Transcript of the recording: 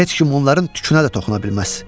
Heç kim onların tükünə də toxuna bilməz.